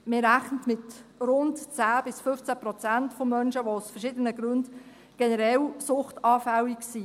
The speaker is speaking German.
Man rechnet mit rund 10–15 Prozent an Menschen, die aus verschiedenen Gründen generell suchtanfällig sind.